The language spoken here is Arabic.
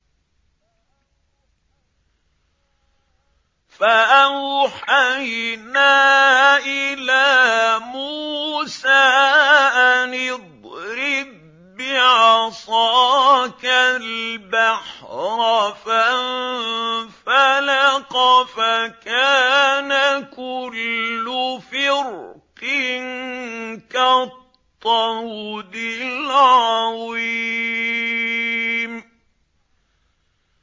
فَأَوْحَيْنَا إِلَىٰ مُوسَىٰ أَنِ اضْرِب بِّعَصَاكَ الْبَحْرَ ۖ فَانفَلَقَ فَكَانَ كُلُّ فِرْقٍ كَالطَّوْدِ الْعَظِيمِ